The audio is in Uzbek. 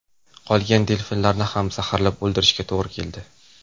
Qolgan delfinlarni ham zaharlab o‘ldirishga to‘g‘ri keldi.